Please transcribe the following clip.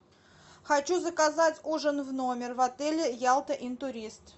хочу заказать ужин в номер в отеле ялта интурист